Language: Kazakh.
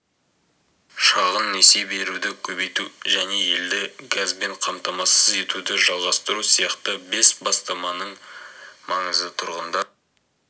шағын несие беруді көбейту және елді газбен қамтамасыз етуді жалғастыру сияқты бес бастаманың маңызы тұрғындар